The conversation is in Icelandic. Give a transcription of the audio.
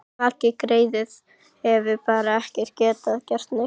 Maggi greyið hefur bara ekki getað gert neitt.